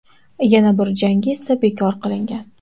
Yana bir jangi esa bekor qilingan.